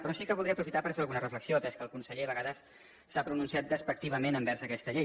però sí que voldria aprofitar per fer alguna reflexió atès que el conseller a vegades s’ha pronunciat despectivament envers aquesta llei